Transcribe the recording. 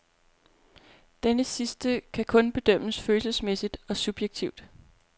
Denne sidste kan kun bedømmes følelsesmæssigt og subjektivt.